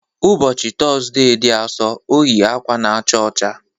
Ụbọchị Tọzdee dị Asọ, o yi akwa na-acha ọcha.